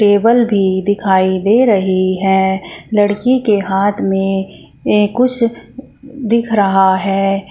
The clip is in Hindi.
टेबल भी दिखाई दे रही है लड़की के हाथ में कुछ दिख रहा है।